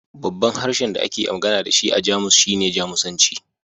Babban harshen da ake magana da shi a Jamus shine Jamusanci